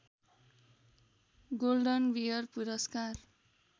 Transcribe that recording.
golden bear पुरस्कार